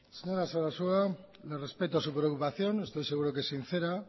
señora sarasua le respeto su preocupación estoy seguro que sincera